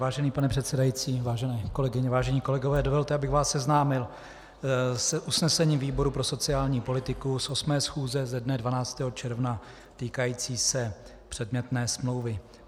Vážený pane předsedající, vážené kolegyně, vážení kolegové, dovolte, abych vás seznámil s usnesením výboru pro sociální politiku z 8. schůze ze dne 12. června týkajícím se předmětné smlouvy.